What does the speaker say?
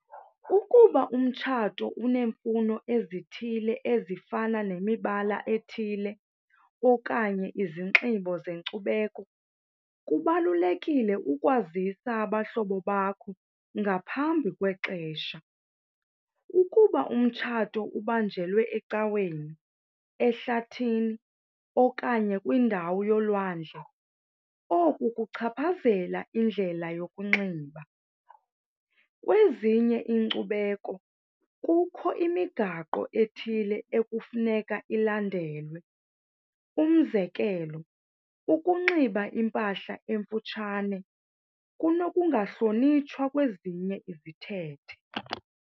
Ukuba umtshato uneemfuno ezithile ezifana nemibala ethile okanye izinxibo zenkcubeko, kubalulekile ukwazisa abahlobo bakho ngaphambi kwexesha. Ukuba umtshato ubanjelwe ecaweni, ehlathini okanye kwindawo yolwandle, oku kungachaphazela indlela yokunxiba. Kwezinye iinkcubeko kukho imigaqo ethile ekufuneka ilandelwe. Umzekelo, ukunxiba impahla emfutshane kunokungahlonitshwa kwezinye izithethe.